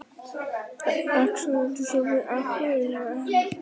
Munurinn á úlfum og sjakölum er enn meiri.